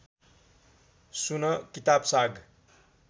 सुन किताब साग